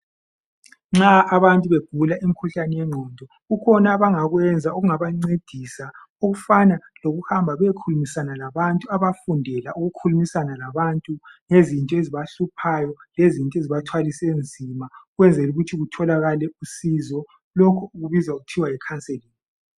Nxa abantu begula imikhuhlane yengqondo. Kuyadingakala ukuthi basondezwe ebantwini, abazingcitshi zokuxoxisana labanjalo. Beseluleka abakhathazekileyo, emoyeni lengqondweni. Bakufundele lokho, njalo ngesikhiwa kuthiwa yicounselling.